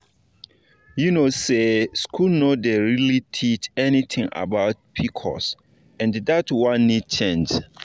you know say school no dey really teach anything about pcos and that one need change.